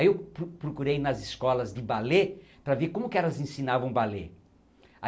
Aí eu pro procurei nas escolas de balê para ver como que elas ensinavam balê.